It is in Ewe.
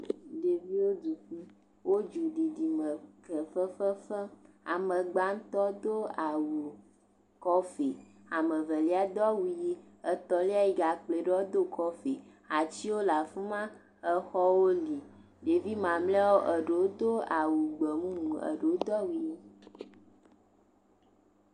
Ɖeviwo du ƒum. Wo duɖiɖimefefe fem. Ame gbãtɔ do awu kɔfi, ame evelia do awu yi. Etɔ̃liae gakplɔe ɖoa edo kɔfi. Atsiwo le afi ma, exɔwo li. Ɖevi mamleawoa eɖo do awu gbemumu eɖo do awu yi.